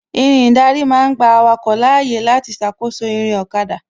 Irin ìdarí ma ń gba awake láyé láti ṣàkóso ìrìn ọ̀kada